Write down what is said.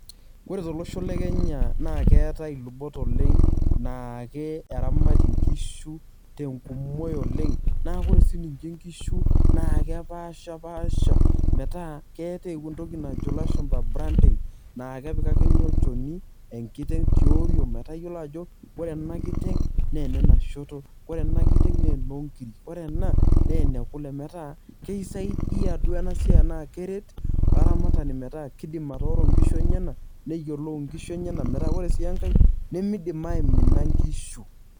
Kore tolosho le Kenya naake keetai ilubot oleng' naa eramati nkishu te nkumoi oleng' naa ore sininje nkishu naake epaashipaasha metaa keeta entoki najo ilashumba branding naake epikakini olchoni enkiteng' tioriong' metaa iyolo ajo ore ena kiteng' naa ene na shoto, ore ena kiteng' naa enoo nkirik, ore ena naa ene kule, metaa keisaidia duo ena siai enaa keret olaramatani metaa kidim atooro nkishu enyenak, neyolou nkishu enyenak metaa kore sii enkae nemidim aimina nkishu.